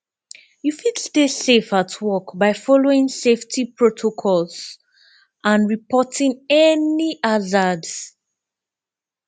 you fit stay safe at work by following safety protocols and reporting any hazards